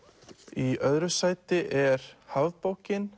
í öðru sæti er